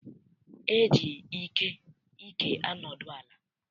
E ji ike anodu ala.